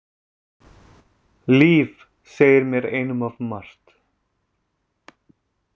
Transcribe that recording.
Líf segir mér einum of margt.